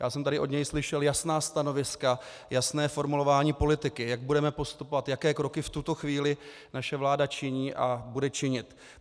Já jsem tady od něj slyšel jasná stanoviska, jasné formulování politiky, jak budeme postupovat, jaké kroky v tuto chvíli naše vláda činí a bude činit.